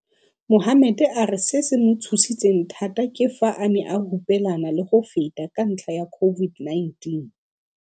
Mohammed a re se se mo tshositseng thata ke fa a ne a hupelana le go feta ka ntlha ya COVID-19.